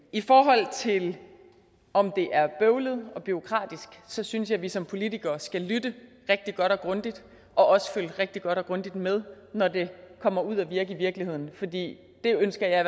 i forhold til om det er bøvlet og bureaukratisk synes jeg vi som politikere skal lytte rigtig godt og grundigt og også følge rigtig godt og grundigt med når det kommer ud at virke i virkeligheden for det ønsker jeg